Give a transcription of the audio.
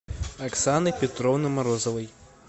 оксаны петровны морозовой